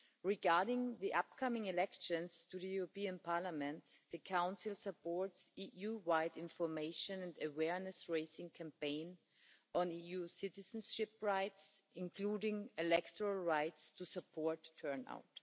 Regarding the upcoming elections to the European Parliament, the Council supports the EU-wide information and awareness raising campaign on EU citizenship rights, including electoral rights to support turnout.